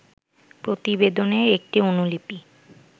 প্রতিবেদনের একটি অনুলিপি